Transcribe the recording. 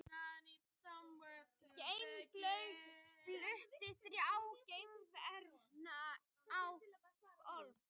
Geimflaugin flutti þrjá gervihnetti á loft